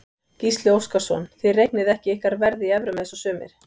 Gísli Óskarsson: Þið reiknið ekki ykkar verð í evrum eins og sumir?